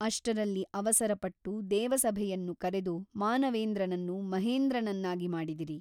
ಅಷ್ಟರಲ್ಲಿ ಅವಸರಪಟ್ಟು ದೇವಸಭೆಯನ್ನು ಕರೆದು ಮಾನವೇಂದ್ರನನ್ನು ಮಹೇಂದ್ರನನ್ನಾಗಿ ಮಾಡಿದಿರಿ.